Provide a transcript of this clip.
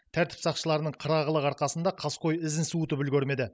тәртіп сақшыларының қырағылығы арқасында қаскөй ізін суытып үлгермеді